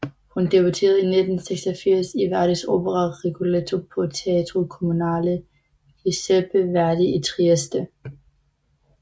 Hun debuterede i 1986 i Verdis opera Rigoletto på Teatro Comunale Giuseppe Verdi i Trieste